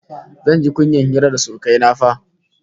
Zan ji kunyar hira da surukai na fa!